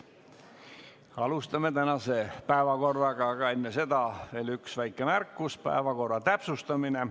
Alustame tänase päevakorra menetlemist, aga veel enne seda on mul üks väike märkus, päevakorra täpsustamine.